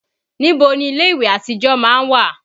Níbo ni ilé ìwẹ̀ àtijọ́ má ń wà?